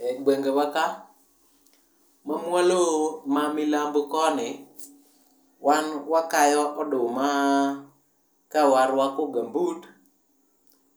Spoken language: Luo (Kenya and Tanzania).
E gwenge wa ka, mamwalo ma milambo koni, wan wakayo oduma ka waruako gambut,